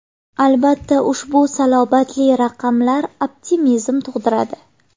Albatta, ushbu salobatli raqamlar optimizm tug‘diradi.